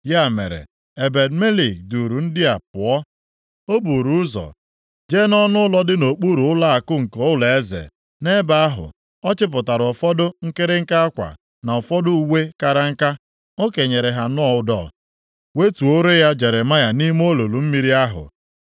Ya mere, Ebed-Melek duuru ndị ahụ pụọ. O buru ụzọ jee nʼọnụụlọ dị nʼokpuru ụlọakụ nke ụlọeze. Nʼebe ahụ, ọ chịpụtara ụfọdụ nkịrịnka akwa, na ụfọdụ uwe kara nka. O kenyere ha nʼụdọ, wetuore ya Jeremaya nʼime olulu mmiri ahụ.